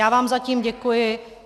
Já vám zatím děkuji.